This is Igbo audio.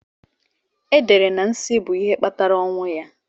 E dere na nsí bụ ihe kpatara ọnwụ ya.